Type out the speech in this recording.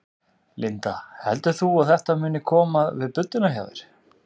Linda: Heldur þú að þetta muni koma við budduna hjá þér?